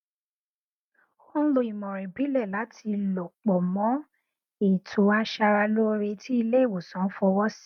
ó n lo ìmọràn ìbílẹ láti lò pọ mọ ètò aṣara lóore tí ilé ìwòsàn fọwọ sí